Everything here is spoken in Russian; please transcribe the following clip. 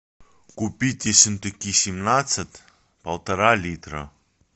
купить ессентуки семнадцать полтора литра